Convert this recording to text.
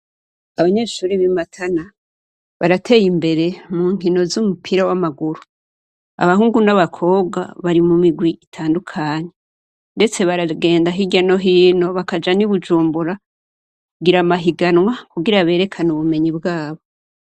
Abanyeshure b'i Matana barateye imbere mu nkino z'umupira w'amaguru. Abahungu n'abakobwa bari mu mirwi itandukanye, ndetse baragenda hirya no hino bakaja n'i Bujumbura kugira amahiganwa kugira berekane ubumenyi bwabo.